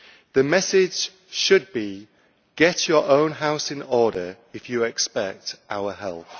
The message should be get your own house in order if you expect our help.